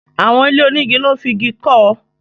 Àwọn ilé onígi lọ́ n fi Igi kọ́